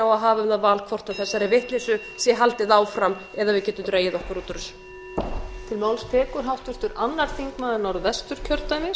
á að hafa um það val hvort þessari vitleysu sé haldið áfram eða við getum dregið okkur út úr þessu